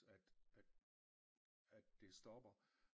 At at at det stopper